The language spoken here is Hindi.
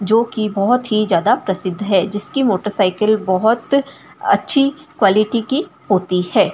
जो कि बहुत ही ज्यादा प्रसिड़ है जिसकी मोटरसाइकिल बहुत याच क्वालिटी की होती है।